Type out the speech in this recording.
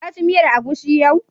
Ka ci miyar agushi yau?